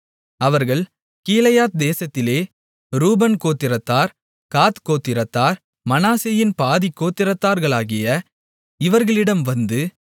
அவர்கள் கீலேயாத் தேசத்திலே ரூபன் கோத்திரத்தார் காத் கோத்திரத்தார் மனாசேயின் பாதிக் கோத்திரத்தார்களாகிய இவர்களிடம் வந்து